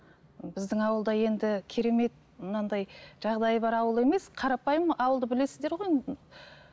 біздің ауылда енді керемет мынандай жағдайы бар ауыл емес қарапайым ауылды білесіздер ғой енді